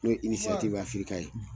N'o ye inisiyatifu Afika ye